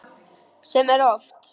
Sem er oft.